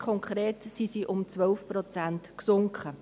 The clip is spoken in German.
Konkret sind sie um 12 Prozent gesunken.